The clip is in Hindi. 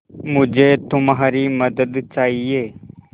मुझे तुम्हारी मदद चाहिये